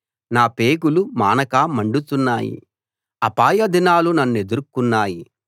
నా పేగులు మానక మండుతున్నాయి అపాయ దినాలు నన్నెదుర్కొన్నాయి